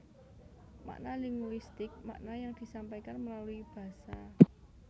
Makna linguistik makna yang disampaikan melalui basa